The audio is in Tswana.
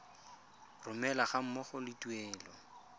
romelwa ga mmogo le tuelo